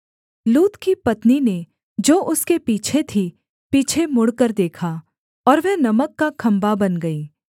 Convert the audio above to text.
लूत की पत्नी ने जो उसके पीछे थी पीछे मुड़कर देखा और वह नमक का खम्भा बन गई